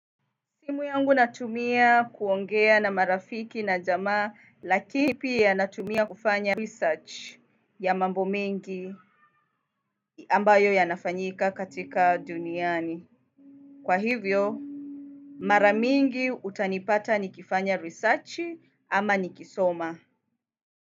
Simu yangu na tumia kuongea na marafiki na jamaa, lakini pia natumia kufanya research ya mambo mingi ambayo yanafanyika katika duniani. Kwa hivyo, mara mingi utani pata niki fanya risachi ama niki soma.